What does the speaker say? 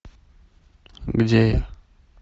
где я